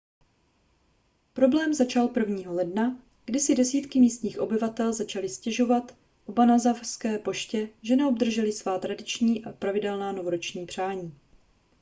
problém začal 1. ledna kdy si desítky místních obyvatel začaly stěžovat obanazawské poště že neobdržely svá tradiční a pravidelná novoroční přání